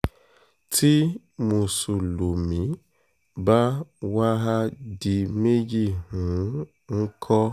tí mùsùlùmí bá wàá di méjì um ńkọ́